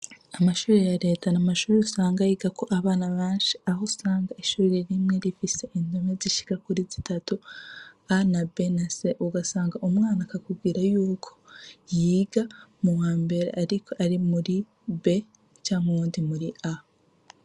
Amashure ya reta ni amashure usanga yiga ko abana benshi uhusanga ishure rimwe rifise indome zishika kuri zitatu A,B na C ugasanga umwana akubwiye yuko yiga mu wambere ariko Ari muri A canke Ari mur B.